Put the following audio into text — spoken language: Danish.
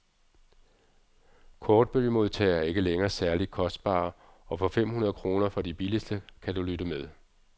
Kortbølgemodtagere er ikke længere særligt kostbare, og for fem hundrede kroner for de billigste, kan du lytte med.